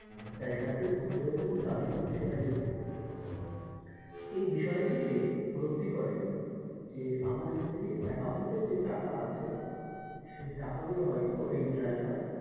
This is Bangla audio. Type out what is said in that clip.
জায়গাতে উপস্থিত হয়েছে এবং দাবি করছে সে তার স্ত্রী এই বিষয়টি সে উপলব্ধি করে যে আমার স্ত্রীর account যে টাকা আছে সে টাকা গুলো হয়তো এই driver,